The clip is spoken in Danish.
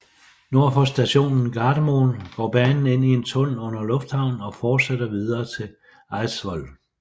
Nord for stationen Gardermoen går banen ind i en tunnel under lufthavnen og fortsætter videre mod Eidsvoll